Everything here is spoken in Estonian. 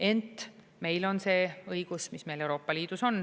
Ent meil on see õigus, mis meil Euroopa Liidus on.